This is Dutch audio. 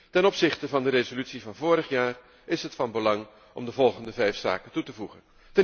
Ten opzichte van de resolutie van vorig jaar is het van belang om de volgende vijf zaken toe te voegen.